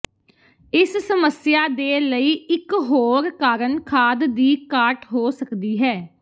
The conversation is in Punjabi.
ਇਸ ਸਮੱਸਿਆ ਦੇ ਲਈ ਇਕ ਹੋਰ ਕਾਰਨ ਖਾਦ ਦੀ ਘਾਟ ਹੋ ਸਕਦੀ ਹੈ